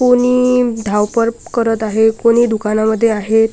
कुणी धावपळ करत आहे कुणी दुकानामध्ये आहेत.